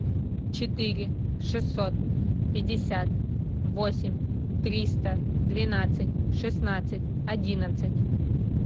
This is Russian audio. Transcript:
четыре шестьсот пятьдесят восемь триста двенадцать шестнадцать одиннадцать